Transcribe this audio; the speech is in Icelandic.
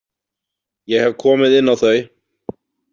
Ég hef komið inn á þau.